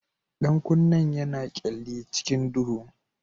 Ɗan kunnen yana kyalli cikin duhu.